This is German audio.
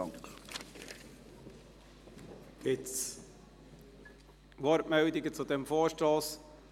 Gibt es Wortmeldungen zu diesem Vorstoss?